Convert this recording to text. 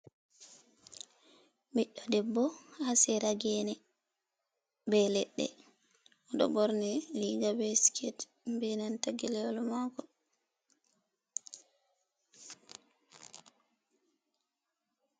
Ɓiɗɗo debbo haa sera geene bee leɗɗe o ɗo ɓorni riiga bee sikete bee nanta geleyel maako